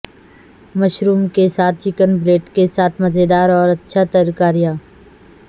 mushroom کے ساتھ chicken breast کے ساتھ مزیدار اور اچھا ترکاریاں